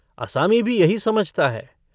असामी भी यही समझता है।